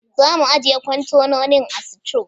Za mu ajjiye kwantenonin a sito.